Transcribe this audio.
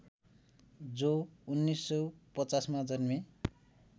जो १९५० मा जन्मे